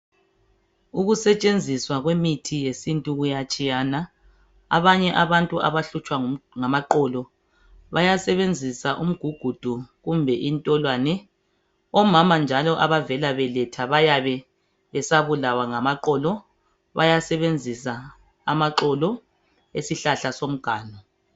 Ukusetshenziswa kwemithi yesintu kuyatshiyana abanye abantu abahlutshwa ngamaqolo bayasebenzisa umgugudu kumbe intolwane omama njalo abavelabeletha bayabe besabulawa ngamaqolo bayasebenzisa amaxolo esihlahla somganu.